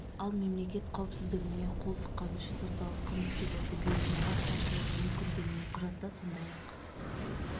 ал мемлекет қауіпсіздігіне қол сұққаны үшін сотталған қылмыскерлерді беруден бас тартылуы мүмкін делінген құжатта сондай-ақ